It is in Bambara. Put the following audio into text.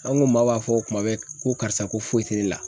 An ko maaw b'a fɔ kuma bɛɛ ko karisa ko foyi tɛ ne la.